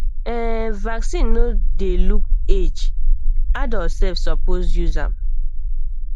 ehn vaccine no dey look age adult self suppose use am